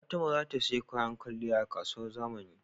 Fatima zata siya kayan kwaliya a kasuwar zama